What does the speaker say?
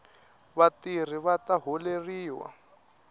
vatirhi vata holeriwa